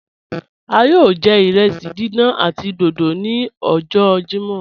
A yọọ jẹ irẹsí dídán àti dódó ni ọjọ Jímọ́.